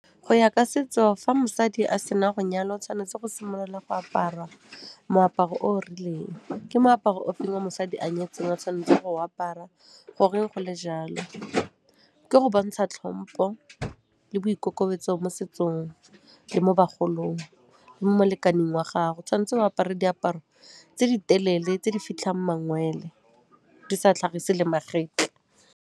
Go ya ka setso, fa mosadi a sena go nyalwa o tshwanetse go simolola go apara moaparo o rileng. Ke moaparo o feng o mosadi a nyetseng o tshwanetse go apara, goreng go le jalo? Ke go bontsha tlhompo le boikokobetso mo setsong le mo bagolong le mo molekaneng wa gagwe. Tshwan'tse o apare diaparo tse di telele tse di fitlhang mangwele di sa tlhagise le magetla.